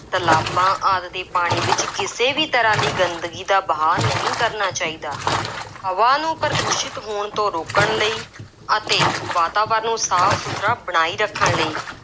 ਤਲਾਬਾਂ ਆਦਿ ਦੇ ਪਾਣੀ ਵਿੱਚ ਕਿਸੇ ਵੀ ਤਰ੍ਹਾਂ ਦੀ ਗੰਦਗੀ ਦਾ ਵਹਾਅ ਨਹੀਂ ਕਰਨਾ ਚਾਹੀਦਾ। ਹਵਾ ਨੂੰ ਪ੍ਰਦੂਸ਼ਿਤ ਹੋਣ ਤੋਂ ਰੋਕਣ ਲਈ ਅਤੇ ਵਾਤਾਵਰਨ ਨੂੰ ਸਾਫ ਸੁਥਰਾ ਬਣਾਈ ਰੱਖਣ ਲਈ